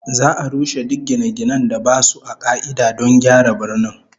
Za'a rushe duk gine-ginen da basu a ka'ida don gyara birnin